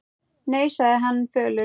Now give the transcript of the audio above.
Nei, sagði hann fölur.